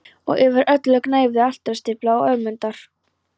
Og yfir öllu gnæfði altaristafla Ögmundar.